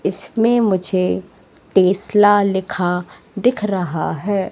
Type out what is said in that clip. इसमें मुझे टेस्ला लिखा दिख रहा है।